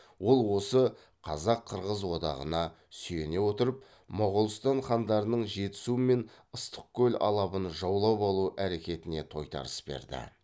ол осы қазақ қырғыз одағына сүйене отырып моғолстан хандарының жетісу мен ыстықкөл алабын жаулап алу әрекетіне тойтарыс берді